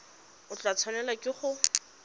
o tla tshwanelwa ke go